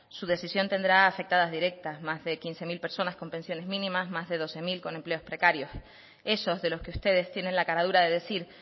su decisión tendrá afectadas directas más de quince mil personas con pensiones mínimas más de doce mil con empleos precarios esos de los que ustedes tienen la cara dura de decir